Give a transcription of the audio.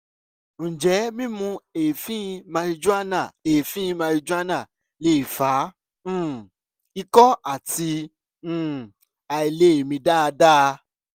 ǹjẹ́ mímú èéfín marijuana èéfín marijuana lè fa um ikọ́ àti um àìlè mí dáadáa?